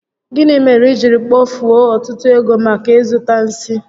Gịnị mere i jiri kpofue ọtụtụ ego maka ịzụta nsi?